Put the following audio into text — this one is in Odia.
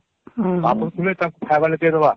ମାଗୁଥିଲେ ତାଙ୍କୁ ହଁ ହଁ ଖାଇବା ହେଲେ ଯିଏ ଦେବା